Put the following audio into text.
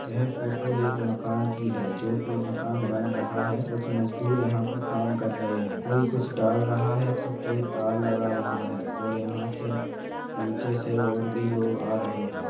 यह फोटो एक मकान की है जो की मकान बन रहा है कुछ मजदूर यहाँ पर काम कर रहे हैं कोई कुछ डाल रहा है तो कोई तार लगा रहा है और यहाँ से निचे से और भी लोग आ रहे हैं।